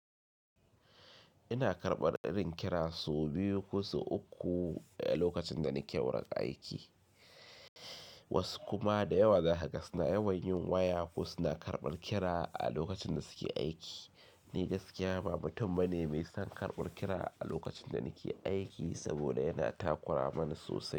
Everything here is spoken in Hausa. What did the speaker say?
Ina karɓar irin kira sau biyu ko sau uku a lokacin da nake wurin aiki. Wasu kuma da yawa za kaga. Suna yawan yin waya ko suna karɓar kira a lokacin da suke aiki. Ni gaskiya ba mutum bane mai son karɓar kira a lokacin da nake aiki saboda yana takura mani sosai.